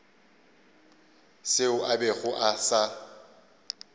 seo a bego a sa